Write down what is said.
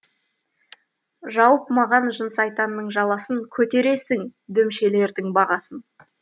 жауып маған жын сайтанның жаласын көтересің дүмшелердің бағасын